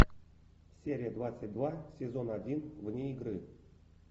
серия двадцать два сезон один вне игры